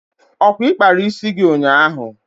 Ọkwa ị kpara isi gị ụnyaahụ?